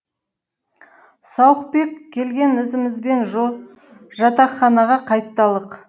сауықбек келген ізімізбен жатақханаға қайталық